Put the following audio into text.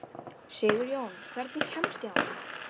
Sigurjón, hvernig kemst ég þangað?